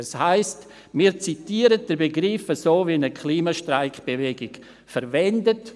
Das heisst, wir zitieren also den Begriff, wie ihn die Klimastreik-Bewegung verwendet.